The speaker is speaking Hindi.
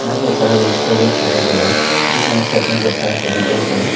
यहां बहुत सारा वेजिटेबल्स दिखाई दे रहा है जिसमें एक साइड मे बहोत सारा टोमेटोज हैं।